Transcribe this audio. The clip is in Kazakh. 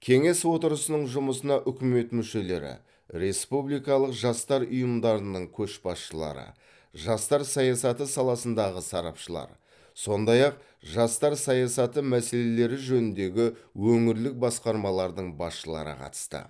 кеңес отырысының жұмысына үкімет мүшелері республикалық жастар ұйымдарының көшбасшылары жастар саясаты саласындағы сарапшылар сондай ақ жастар саясаты мәселелері жөніндегі өңірлік басқармалардың басшылары қатысты